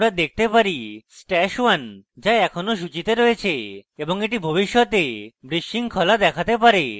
আমরা দেখতে পারি stash @{1} যা এখনো সূচীতে রয়েছে এবং এটি ভবিষ্যতে বিশৃঙ্খলা দেখাতে পারে